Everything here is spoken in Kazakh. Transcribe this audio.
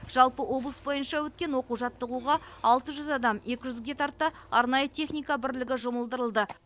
жалпы облыс бойынша өткен оқу жаттығуға алты жүз адам екі жүзге тарта арнайы техника бірлігі жұмылдырылды